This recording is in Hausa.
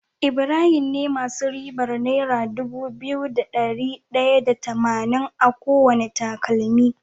Ibahim ze masu ribar naira Dubu biyu da dari daya da tamanin akowane takalmi